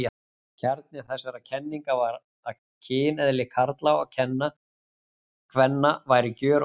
Kjarni þessara kenninga var að kyneðli karla og kvenna væri gjörólíkt.